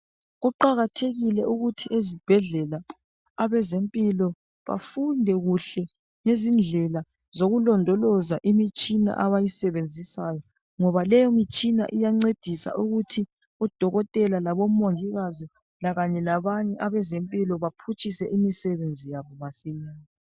Kuqakathekile ukuthi ezibhedlela abezempilo bafunde kuhle ngezindlela zokulondoloza imitshina abayisebenzisayo ngoba le mitshina iyancedisa ukuthi odokotela labomongikazi lakanye labanye abezempilo baphutshise imisebenzi yabo masinya.